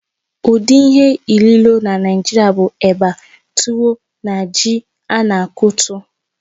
Ụdị ihe ilìlo na Naijiria bụ eba, tuwo, na ji a na-akụtu.